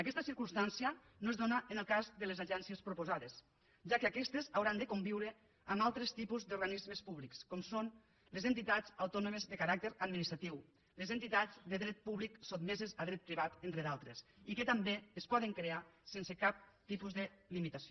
aquesta circumstància no es dóna en el cas de les agències proposades ja que aquestes hauran de conviure amb altres tipus d’organismes públics com són les entitats autònomes de caràcter administratiu les entitats de dret públic sotmeses a dret privat entre d’altres i que també es poden crear sense cap tipus de limitació